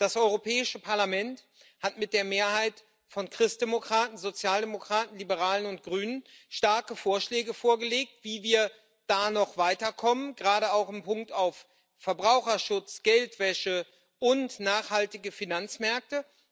Das Europäische Parlament hat mit der Mehrheit von Christdemokraten, Sozialdemokraten, Liberalen und Grünen starke Vorschläge vorgelegt, wie wir da noch weiterkommen, gerade auch im Hinblick auf Verbraucherschutz, Geldwäsche und nachhaltige Finanzmärkte.